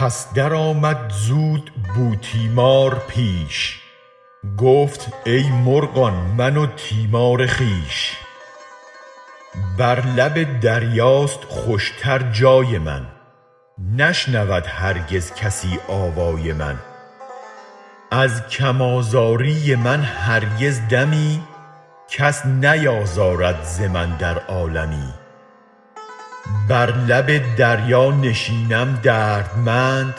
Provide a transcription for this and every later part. پس درآمد زود بوتیمار پیش گفت ای مرغان من و تیمار خویش بر لب دریاست خوش تر جای من نشنود هرگز کسی آوای من از کم آزاری من هرگز دمی کس نیازارد ز من در عالمی بر لب دریا نشینم دردمند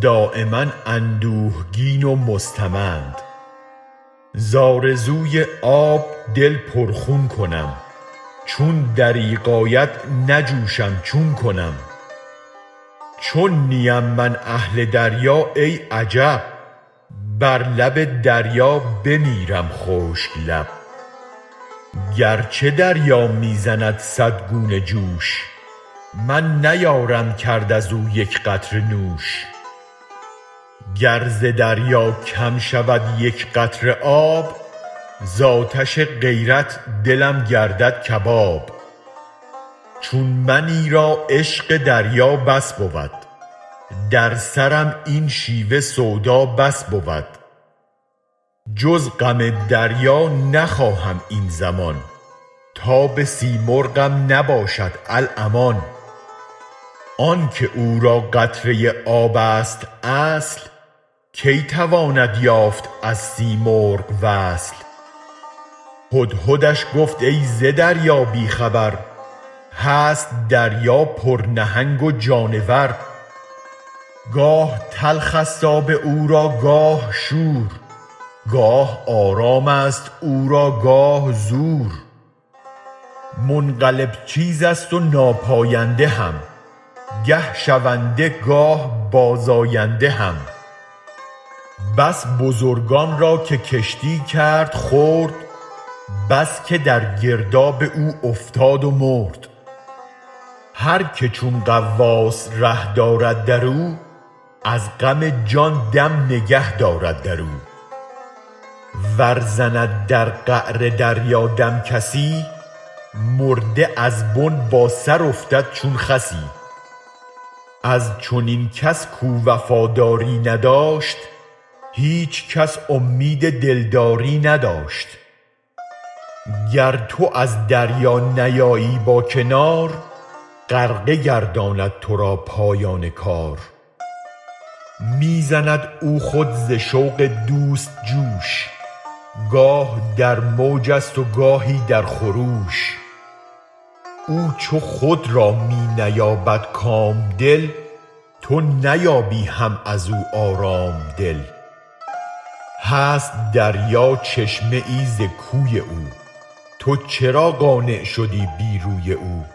دایما اندوهگین و مستمند زآرزوی آب دل پر خون کنم چون دریغ آید نجوشم چون کنم چون نیم من اهل دریا ای عجب بر لب دریا بمیرم خشک لب گر چه دریا می زند صد گونه جوش من نیارم کرد از او یک قطره نوش گر ز دریا کم شود یک قطره آب زآتش غیرت دلم گردد کباب چون منی را عشق دریا بس بود در سرم این شیوه سودا بس بود جز غم دریا نخواهم این زمان تاب سیمرغم نباشد الامان آنک او را قطره آب ست اصل کی تواند یافت از سیمرغ وصل هدهدش گفت ای ز دریا بی خبر هست دریا پر نهنگ و جانور گاه تلخ است آب او را گاه شور گاه آرام است او را گاه زور منقلب چیز است و ناپاینده هم گه شونده گاه بازآینده هم بس بزرگان را که کشتی کرد خرد بس که در گرداب او افتاد و مرد هرک چون غواص ره دارد در او از غم جان دم نگه دارد در او ور زند در قعر دریا دم کسی مرده از بن با سر افتد چون خسی از چنین کس کاو وفاداری نداشت هیچ کس اومید دلداری نداشت گر تو از دریا نیایی با کنار غرقه گرداند تو را پایان کار می زند او خود ز شوق دوست جوش گاه در موج است و گاهی در خروش او چو خود را می نیابد کام دل تو نیابی هم از او آرام دل هست دریا چشمه ای از کوی او تو چرا قانع شدی بی روی او